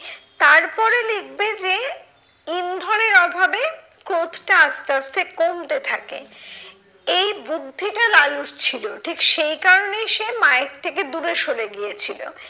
তারপরে লিখবে যে, ইন্ধনের অভাবে ক্রোধটা আস্তে আস্তে কমতে থাকে, এই বুদ্ধিটা লালুর ছিল ঠিক সেই কারণেই সে মায়ের থেকে দূরে সরে গিয়েছিলো।